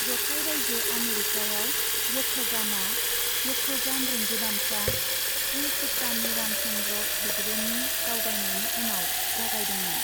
जथाइ रायजो आमेरिकाआव यक्षगानआ यक्षगान रिंगुदामसा, श्री चित्तानी रामचन्द्र हेगड़ेनि दावबायनायनि उनाव जागायदोंमोन।